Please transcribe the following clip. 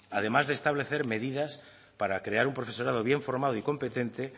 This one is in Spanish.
además de establecer medidas para crear un profesorado bien formado y competente